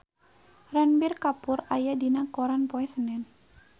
Ranbir Kapoor aya dina koran poe Senen